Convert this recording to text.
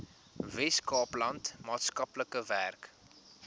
weskaapland maatskaplike werk